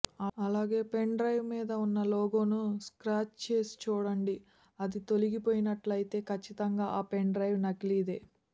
అలాగే పెన్డ్రైవ్ మీద ఉన్న లోగోను స్ర్కాచ్ చేసి చూడిండి అది తొలగిపోయినట్లయితే ఖచ్చితంగా ఆ పెన్డ్రైవ్ నకిలీదే